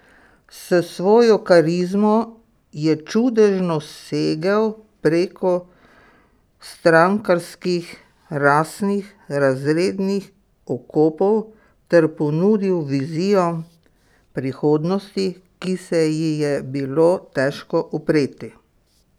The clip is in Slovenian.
S svojo karizmo je čudežno segel preko strankarskih, rasnih, razrednih okopov ter ponudil vizijo prihodnosti, ki se ji je bilo težko upreti!